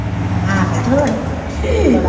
ਆਹੋ ਤੇ ਹੋਰ ਬੜਾ।